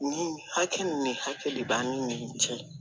Nin hakɛ min hakɛ de b'an ni nin cɛ